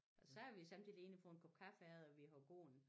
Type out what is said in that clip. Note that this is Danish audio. Og så er vi sommetider inde og få en kop kaffe efter vi har gået